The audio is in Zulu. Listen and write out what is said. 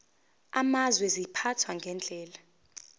amazwe ziphathwa ngendlela